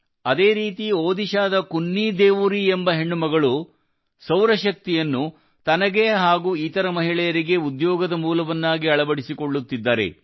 ಅದೇ ರೀತಿ ಒಡಿಶಾದ ಕುನ್ನಿ ದೇವೋರಿ ಎಂಬ ಹೆಣ್ಣು ಮಗಳು ಸೌರಶಕ್ತಿಯನ್ನು ತನಗೆ ಹಾಗೂ ಇತರ ಮಹಿಳೆಯರಿಗೆ ಉದ್ಯೋಗದ ಮೂಲವನ್ನಾಗಿ ಅಳವಡಿಸಿಕೊಳ್ಳುತ್ತಿದ್ದಾರೆ